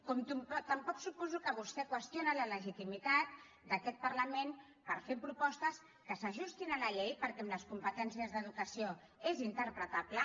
com també suposo que vostè qüestiona la legitimitat d’aquest parlament per fer propostes que s’ajustin a la llei perquè amb les competències d’educació és interpretable